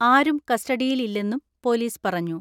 ആരും കസ്റ്റഡിയിലില്ലെന്നും പൊലീസ് പറഞ്ഞു.